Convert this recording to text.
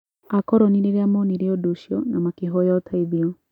Akoroni rĩrĩa moonire ũndũ ũcio na makĩhoya ũteithio